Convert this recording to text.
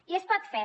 i es pot fer